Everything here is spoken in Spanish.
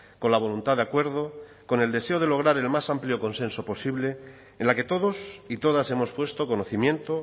con la voluntad de acuerdo con el deseo de lograr el más amplio consenso posible en la que todos y todas hemos puesto conocimiento